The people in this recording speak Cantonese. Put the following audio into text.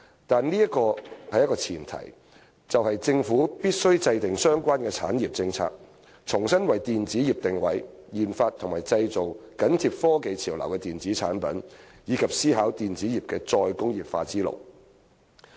但是，這有一個前提，就是政府必須制訂相關的產業政策，重新為電子業定位，研發及製造緊貼科技潮流的電子產品，以及思考電子業的"再工業化"之路。